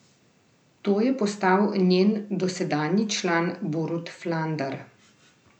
To je postal njen dosedanji član Borut Flander.